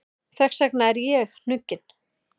Þess vegna er ég hnugginn.